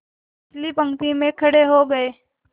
पिछली पंक्ति में खड़े हो गए